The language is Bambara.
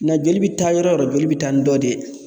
Na joli bɛ taa yɔrɔ o yɔrɔ joli bɛ taa ni dɔ de ye.